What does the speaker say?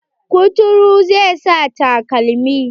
Kuturun zai sa takalmi.